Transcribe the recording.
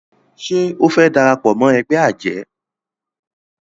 ṣe o fè darapọ̀ mọ ègbé ajé?